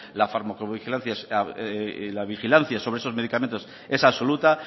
la fármacovigilancia y la vigilancia sobre esos medicamentos es absoluta